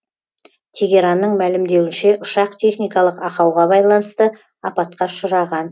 тегеранның мәлімдеуінше ұшақ техникалық ақауға байланысты апатқа ұшыраған